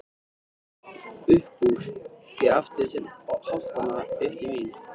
Uppúr því aftur til holtanna, upp til mín.